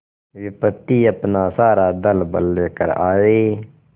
विपत्ति अपना सारा दलबल लेकर आए